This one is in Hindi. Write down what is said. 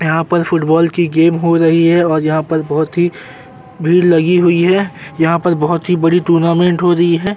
यहां पर फुटबॉल की गेम हो रही हैं और यहां पर बोहोत ही भीड़ लगी हुई है। यहां पर बोहोत ही बढ़िया टूर्नामेंट हो रही है।